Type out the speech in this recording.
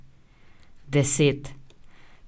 Deset.